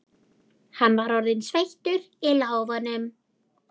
Hann var orðinn sveittur í lófunum.